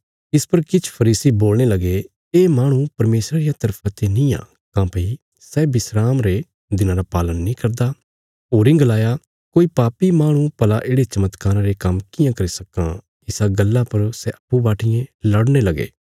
इस पर किछ फरीसी बोलणे लगे ये माहणु परमेशरा रिया तरफा ते निआं काँह्भई सै विस्राम रे दिना रा पालन नीं करदा होरीं गलाया कोई पापी माहणु भला येढ़े चमत्कारा रे काम्म कियां करी सक्कां इसा गल्ला पर सै अप्पूँ बाटियें लड़ने लगे